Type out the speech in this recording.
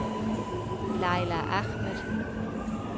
Laila Ahmed